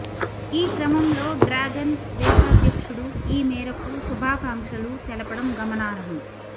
ఈ క్రమంలో డ్రాగన్ దేశాధ్యక్షుడు ఈ మేరకు శుభాకాంక్షలు తెలపడం గమనార్హం